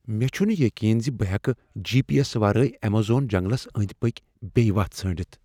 مےٚ چھنہٕ یقین ز بہٕ ہیكہٕ جی۔ پی۔ ایس ورٲیۍ ایمیزون جنگلس أنٛدۍ پٔکۍ بیٚیہِ وتھ ژھٲنڈِتھ۔